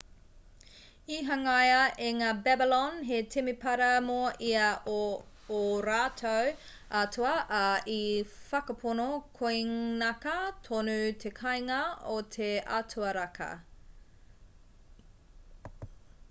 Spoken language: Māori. i hangaia e ngā babylon he temepara mō ia o ō rātou atua ā i whakapono koinaka tonu te kāinga o te atua raka